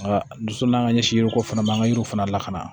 Nka dɔ so n'an ka ɲɛsin yɔrɔ fana man ka yiriw fana lakana